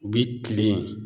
U bi kilen